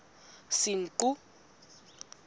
senqu